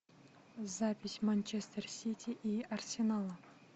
запись манчестер сити и арсенала